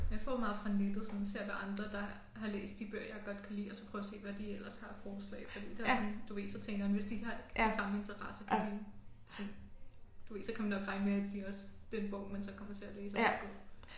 Jeg får meget fra nettet sådan ser hvad andre der har læst de bøger jeg godt kan lide og så prøver at se hvad de ellers har af forslag fordi det også sådan du ved man tænker man sådan hvis de også har de samme interesser kan de sådan du ved så kan man nok regne med at de også at den bog man så kommer til at læse også er god